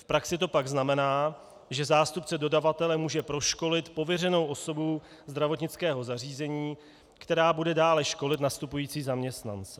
V praxi to pak znamená, že zástupce dodavatele může proškolit pověřenou osobu zdravotnického zařízení, která bude dále školit nastupující zaměstnance.